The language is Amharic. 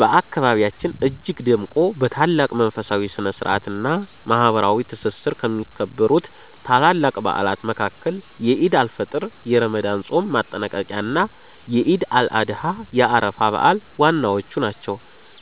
በአካባቢያችን እጅግ ደምቆ፣ በታላቅ መንፈሳዊ ስነ-ስርዓት እና ማህበራዊ ትስስር ከሚከበሩት ታላላቅ በዓላት መካከል የዒድ አል-ፊጥር የረመዳን ጾም ማጠናቀቂያ እና የዒድ አል-አድሃ የአረፋ በዓል ዋናዎቹ ናቸው።